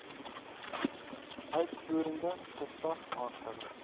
uitvoerende gesag aangewys